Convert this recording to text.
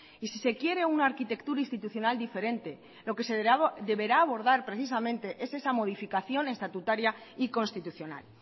y si se quiere una arquitectura institucional diferente lo que se deberá abordar precisamente es esa modificación estatutaria y constitucional